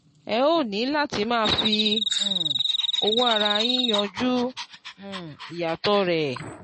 ẹ óò ní láti máa fi um owó ara yín yanjú um ìyàtọ̀ rẹ̀